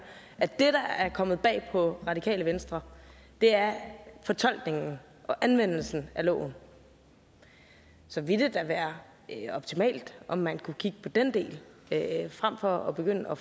at det der er kommet bag på radikale venstre er fortolkningen og anvendelsen af loven så ville det da være optimalt om man kunne kigge på den del frem for at begynde at